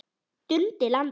Dundi landa!